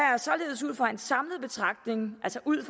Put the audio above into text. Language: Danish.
er således ud fra en samlet betragtning altså ud